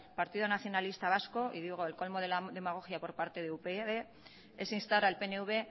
partido nacionalistas vasco y digo el colmo de la demagogia por parte de upyd es instar al pnv